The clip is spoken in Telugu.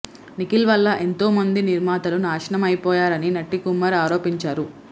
నిఖిల్ వల్ల ఎంతో మంది నిర్మాతలు నాశనం అయిపోయారని నట్టికుమార్ ఆరోపించారు